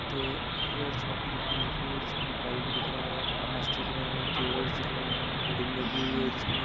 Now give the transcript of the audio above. एक hair shop की दुकान दिख रही है जिसमे एक बल्ब दिख रहा है बांस दिख रहे है केबलस दिख रहे हैं होल्डिंग लगी हुई है जिसमे--